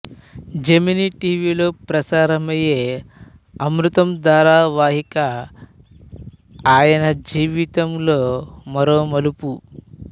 Gemini T విలో ప్రసారమైన అమృతం ధారావాహిక ఆయన జీవితంలో మరో మలుపు